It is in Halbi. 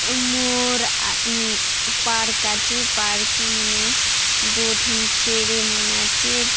अम मोर आ पार्क आचे पार्क ने दुय ठन चेड़े मन आचे --